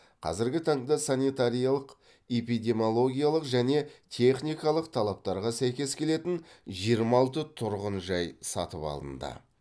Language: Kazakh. қазіргі таңда санитариялық эпидемиологиялық және техникалық талаптарға сәйкес келетін жиырма алты тұрғын жай сатып алынды